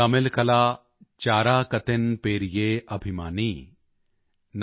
ਨਾਨ ਤਮਿਲਕਲਾ ਚਾਰਾਕਤਿਨ ਪੇਰਿਏ ਅਭਿਮਾਨੀ